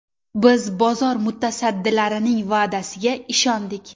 Biz bozor mutasaddilarining va’dasiga ishondik.